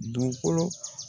Dugukolo